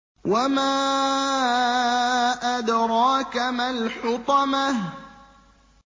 وَمَا أَدْرَاكَ مَا الْحُطَمَةُ